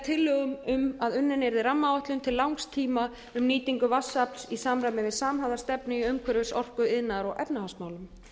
tillögum um að unnin yrði rammaáætlun til langs tíma um nýtingu vatnsafls í samræmi við samhæfða stefnu í umhverfis orku iðnaðar og efnahagsmálum